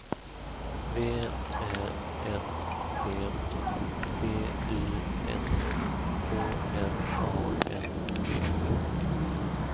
V Ä S T T Y S K L A N D